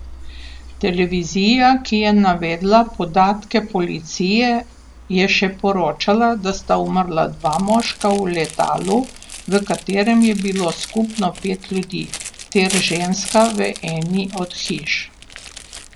Televizija, ki je navedla podatke policije, je še poročala, da sta umrla dva moška v letalu, v katerem je bilo skupno pet ljudi, ter ženska v eni od hiš.